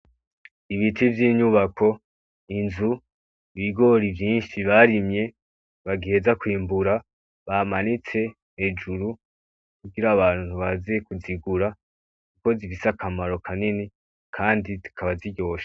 Ibiti vy'inyubako, inzu, ibigori vyinshi barimye bagiheza kwimbura bamanitse hejuru kugira abantu baze kuzigura kuko zifise akamaro kanini kandi zikaba ziryoshe.